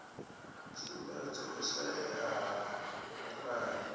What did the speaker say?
sumbedza u shaea ha vhupulani